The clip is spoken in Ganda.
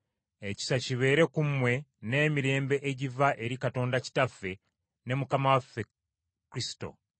ekisa kibe ku mmwe n’emirembe egiva eri Katonda Kitaffe ne Mukama waffe Kristo.